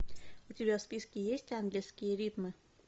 у тебя в списке есть ангельские ритмы